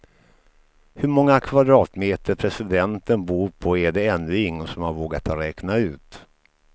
Hur många kvadratmeter presidenten bor på är det ännu ingen som har vågat räkna ut.